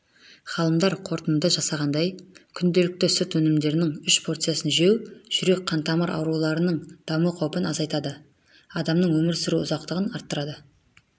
ғалымдар қорытынды жасағандай күнделікті сүт өнімдерінің үш порциясын жеу жүрек-қантамыр ауруларының даму қаупін азайтады адамның өмір сүру ұзақтығын арттырады